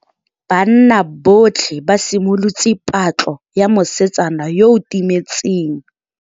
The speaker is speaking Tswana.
Banna botlhê ba simolotse patlô ya mosetsana yo o timetseng.